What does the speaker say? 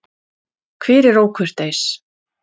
Hver er ókurteis?